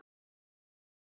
Að minna en engu.